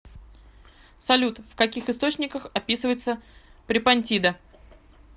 салют в каких источниках описывается препонтида